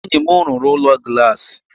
Enyi m rụrụ Ụlọ Glassi